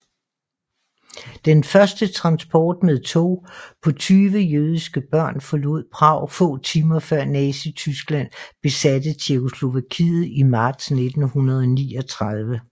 Den første transport med tog på 20 jødiske børn forlod Prag få timer før Nazityskland besatte Tjekkoslovakiet i marts 1939